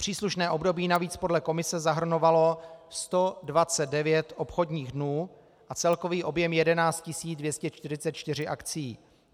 Příslušné období navíc podle Komise zahrnovalo 129 obchodních dnů a celkový objem 11 244 akcií.